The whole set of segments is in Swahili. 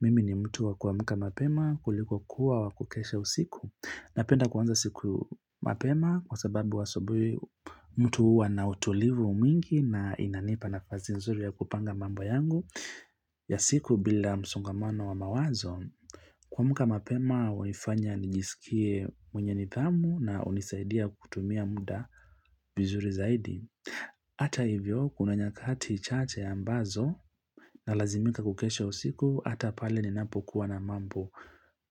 Mimi ni mtu wa kuamka mapema kuliko kuwa wa kukesha usiku. Napenda kuanza siku mapema kwa sababu asubuhi mtu uwa na utulivu mingi na inanipa nafasi nzuri ya kupanga mambo yangu ya siku bila msongamano wa mawazo. Kuamka mapema wanifanya nijisikie mwenye nidhamu na unisaidia kutumia muda. Vizuri zaidi. Ata hivyo kuna nyakati chate ambazo na lazimika kukesha usiku ata pale ninapo kuwa na mambo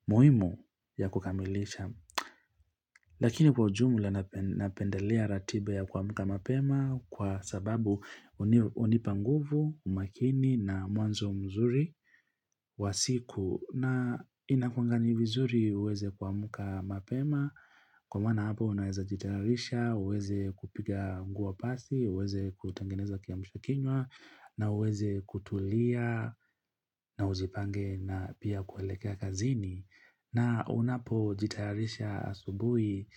muhimu ya kukamilisha. Lakini kwa ujumula napendelea ratiba ya kuamka mapema kwa sababu unipa nguvu, umakini na mwanzo mzuri wa siku. Na inakuwanga ni vizuri uweze kuamka mapema, kwa maana hapo unaweza jitarisha, uweze kupiga nguo pasi, uweze kutengeneza kiamsha kinywa, na uweze kutulia, na uzipange na pia kuelekea kazini. Na unapo jitayarisha asubuhi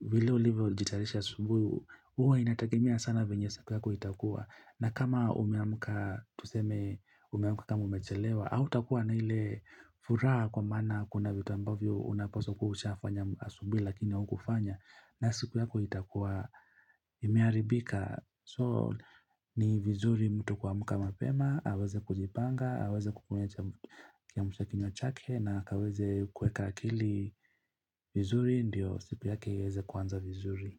vile ulivo jitayarisha asubuhi, huwa inategemea sana venye siku yako itakua. Na kama umeamka tuseme umeamka kama umechelewa, hautakua na ile furaha kwa maana kuna vitu ambavyo unapaswa kuwa ushafanya asubuhi lakini haukufanya. Na siku yako itakua imeharibika. So ni vizuri mtu kuama mapema, aweze kujipanga, aweze kukunywa kiamsha kinywa chake na aweze kuweka akili vizuri, ndio siku yake iweze kuanza vizuri.